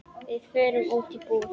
Við fórum út í búð.